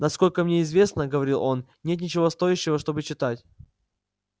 насколько мне известно говорил он нет ничего стоящего чтобы читать